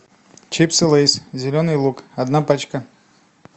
чипсы лейс зеленый лук одна пачка